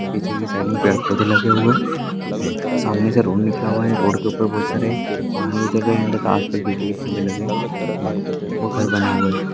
पीछे के साइड में पेड़ पौधे लागे हुवे है सामने से रोड निकाला हुवा है रोड के ऊपर बहुत सारे बिजली के खंबे लगे हुवे है वो घर बने हुवे है.